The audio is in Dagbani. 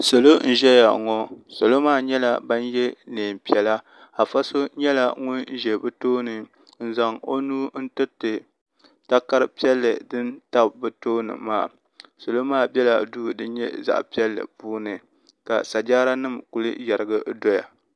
salo n-ʒiya ŋɔ salo maa nyɛla ban ye neen' piɛla afa so, nyɛla ŋun ʒe bɛ tooni n-zaŋ o nuu n-tiri takara piɛlli din tabi bɛ tooni maa salo maa bela duu din nyɛ zaɣ' piɛlli puuni ka sajaaranima kuli yarigi n-doya.